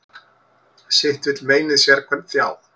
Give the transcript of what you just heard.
Sitt vill meinið sérhvern þjá.